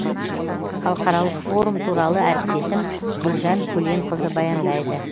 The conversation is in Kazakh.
халықаралық форум туралы әріптесім гүлжан көленқызы баяндайды